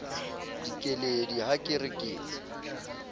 dikeledi ha ke re ke